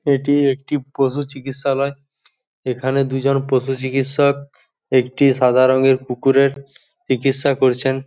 এটি একটি পশুচিকিৎসালয় এখানে দুজন পশুচিকিৎসক একটি সাদা রঙের কুকুরের চিকিৎসা করছেন।